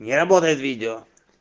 не работает видео